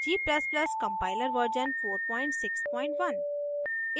g ++ compiler version 461